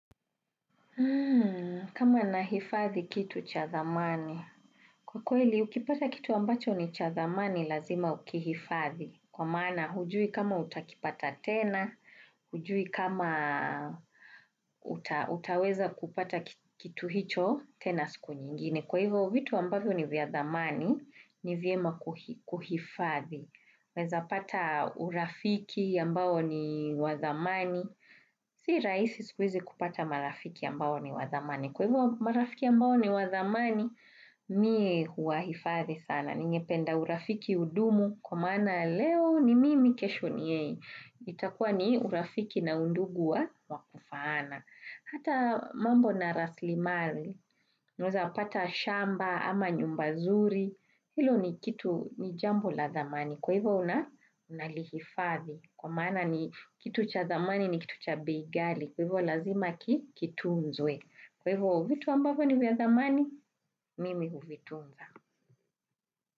Kama nahifadhi kitu cha thamani. Kwa kweli, ukipata kitu ambacho ni cha thamani lazima ukihifadhi. Kwa maana hujui kama utakipata tena, hujui kama utaweza kupata kitu hicho tena siku nyingine. Kwa hivyo vitu ambavyo ni vya dhamani, ni vyema kuhifadhi. Unaweza pata urafiki ambao ni wa thamani. Si rahisi siku hizi kupata marafiki ambao ni wa thamani. Kwa hivyo marafiki ambao ni wa thamani, mimi huwahifadhi sana. Ningependa urafiki udumu kwa maana leo ni mimi kesho ni yeye. Itakuwa ni urafiki na undugu wa kufaana. Hata mambo na raslimali, unaweza pata shamba ama nyumba nzuri, hilo ni jambo la thamani. Kwa hivyo unalihifadhi. Kwa maana cha thamani ni kitu cha bei ghali. Kwa hivyo lazima kitunzwe. Kwa hivyo vitu ambavyo ni vya thamani, mimi huvitunza.